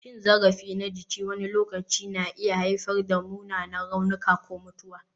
Cin zarafi na jiki wani lokaci na iya haifar da munanan raunuka ko mutuwa.